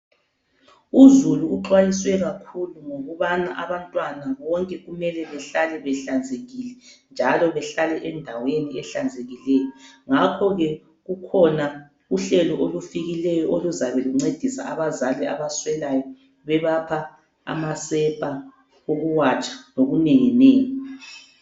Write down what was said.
Uzulu uxwayiswe kakhulu ngokubana abantwana bonke kumele behlale behlanzekile njalo behlale endaweni ehlanzekileyo. Ngakho ke kukhona uhlelo olufikileyo oluzabe luncedisa abazali abaswelayo, bebapha amasepa okuwatsha lokunenginengi.